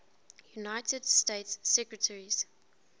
united states secretaries